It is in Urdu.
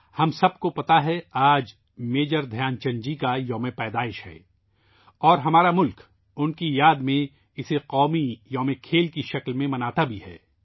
ہم سب کو پتہ ہے کہ آج میجر دھیان چند جی کی سالگرہ ہےاور ہمارا ملک ، ان کی یاد میں اس دن کو کھیلوں قومی دن کے طور پر بھی مناتا ہے